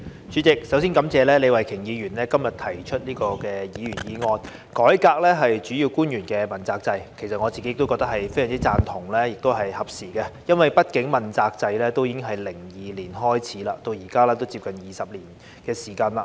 主席，首先感謝李慧琼議員今天提出"改革主要官員問責制"的議員議案，我個人非常贊同，並認為是合時的，因為畢竟問責制在2002年開始，至今已接近20年的時間。